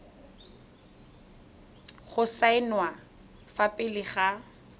go saenwa fa pele ga